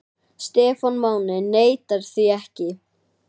Stefán Máni neitar því ekki.